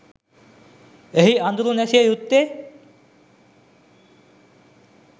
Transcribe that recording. එහි අඳුර නැසිය යුත්තේ